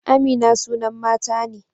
Amina sunan mata ne.